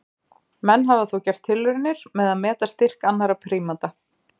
Menn hafa þó gert tilraunir með að meta styrk annarra prímata.